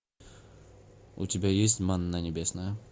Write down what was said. у тебя есть манна небесная